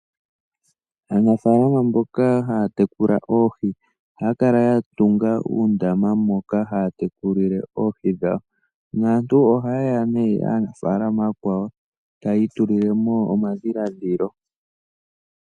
Aanafalama mboka haa tekula oohi , ohaa kala yatunga uundama moka haya tekulile oohi dhawo .naantu oha yeya nee aanafalama akwawo tayi tulilemo omadhiladhilo.